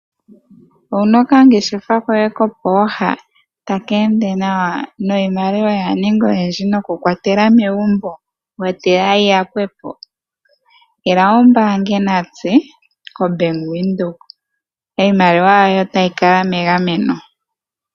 Owu na okangeshefa koye kopooha taka ende nawa niimaliwa oya ninga oyindji nokukwatela megumbo wa tila yi yakwe po? Ila wu mbaange natse koBank Windhoek. Iimaliwa yoye otayi kala megameno.